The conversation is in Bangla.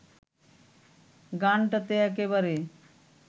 গানটাতে একেবারে